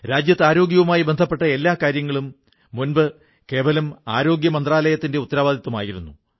രാജ്യത്ത് ആരോഗ്യവുമായി ബന്ധപ്പെട്ട എല്ലാ കാര്യങ്ങളും മുമ്പ് കേവലം ആരോഗ്യമന്ത്രാലയത്തിന്റെ ഉത്തരവാദിത്തമായിരുന്നു